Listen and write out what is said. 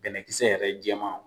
Bɛnɛkisɛ yɛrɛ jɛman